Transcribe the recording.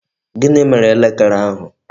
Gịnị mere elekere ahụ?